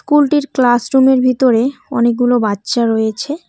স্কুলটির ক্লাসরুমের ভিতরে অনেকগুলো বাচ্চা রয়েছে।